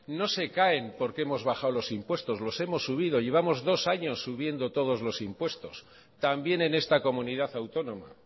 no se caen porque hemos bajado los impuestos los hemos subido llevamos dos años subiendo todos los impuestos también en esta comunidad autónoma